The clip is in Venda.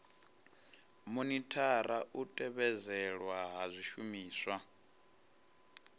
monithara u tevhedzelwa ha zwishumiswa